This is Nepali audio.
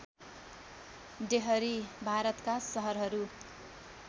डेहरी भारतका सहरहरू